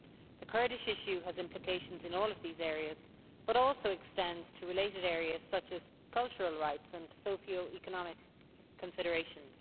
The Kurdish issue has implications in all of these areas, but also extends to related areas, such as cultural rights and socio economic considerations.